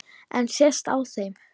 En sést á þeim?